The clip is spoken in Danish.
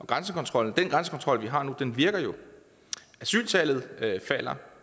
grænsekontrol vi har nu virker jo asyltallet falder